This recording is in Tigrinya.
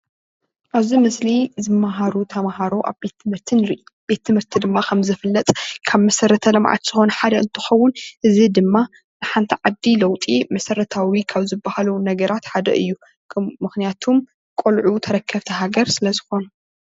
ኣብዚ ምስሊ ዝመሃሩ ተማሃሮ ኣብ ቤት ትምህርቲ ንርኢ፡፡ ቤት ትምህርቲ ድማ ከም ዝፍለጥ ካብ መሰረተ ልምዓት ዝኮና ሓደ እንትከውን እዚ ድማ ንሓንቲ ዓዲ ለውጢ መሰረታዊ ካብ ዝባሃሉ ነገራት ሓደ እዩ፡፡ ምክንያቱም ቆልዑ ተረከብቲ ሃገር ስለ ዝኮኑ፡፡